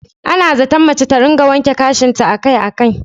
Ana zaton mace ta rika wanke gashinta akai-akai.